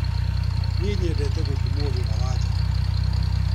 Niĩ nyendete gũtũmwo wĩra wa nja.